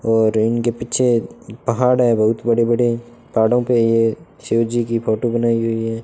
और रूम के पीछे पहाड़ है बहुत बड़े बड़े पहाड़ों पे ये शिवजी की फोटो बनाई हुईं हैं।